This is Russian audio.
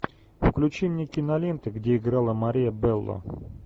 включи мне киноленты где играла мария белло